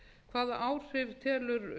hvað áhrif telur